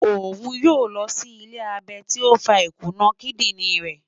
Oun yoo lọ si iṣẹ abẹ ti o fa ikuna kidirin rẹ